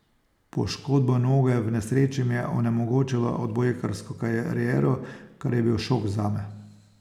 Poškodba noge v nesreči mi je onemogočila odbojkarsko kariero, kar je bil šok zame.